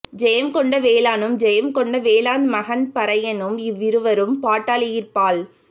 செயங்கொண்ட வேளானும் செயங் கொண்ட வேளாந் மகந் பறையநும் இவ்விருவரும் பட்டாலியிற் பால்